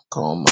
nke um ọma.